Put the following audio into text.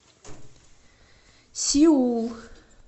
сеул